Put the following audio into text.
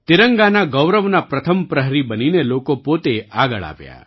તિરંગાના ગૌરવના પ્રથમ પ્રહરી બનીને લોકો પોતે આગળ આવ્યા